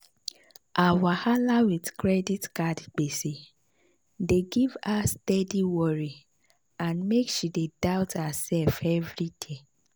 her wahala with credit card gbese dey give her steady worry and make she dey doubt herself every day.